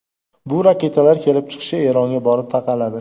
Bu raketalar kelib chiqishi Eronga borib taqaladi.